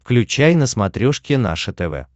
включай на смотрешке наше тв